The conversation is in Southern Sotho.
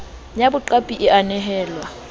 ya boqapi e a nehelwa